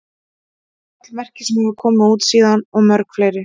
Hún á öll merki sem hafa komið út síðan og mörg fleiri.